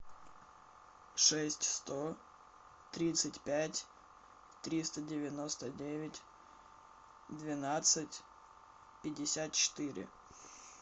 шесть сто тридцать пять триста девяносто девять двенадцать пятьдесят четыре